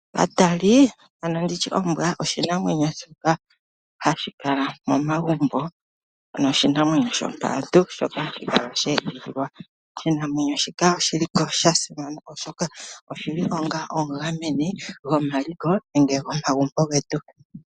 Katali nedhina limwe ombwa shoka hashikala momagumbo ano oshinamwenyo shopaantu. Oshinamwenyo shika oshili sha simana oshoka oshili omugameni gomaliko oshowo omagumbo getu.